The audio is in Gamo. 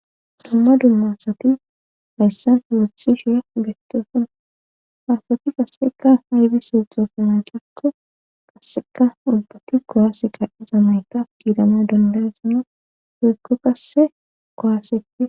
Dumma dumma asati hayssan hilasishe geteson faasati qasseka haybis sixosana cakko kasseka ulbati koyaase qadeza mayta giidama dandaysina hoykko qasse kowaaseti